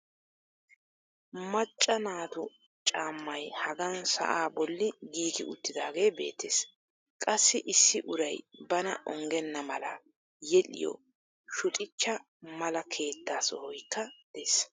macca naatu caammay hagan sa'aa bolli giigi uttidaagee beettees. qassi issi uray bana ongena mala yedhiyo shuxhcha mala keetta sohoykka des.